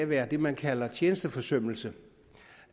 være det man kalder tjenesteforsømmelse